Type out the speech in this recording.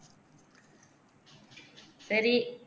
சரி